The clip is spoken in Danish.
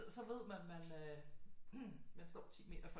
Så ved man man står 10 meter for